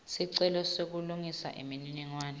sicelo sekulungisa imininingwane